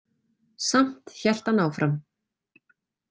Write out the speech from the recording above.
Samt hélt hann áfram.